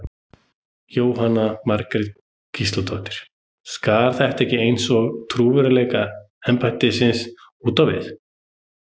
Jóhanna Margrét Gísladóttir: Skaðar þetta ekki eins og trúverðugleika embættisins út á við?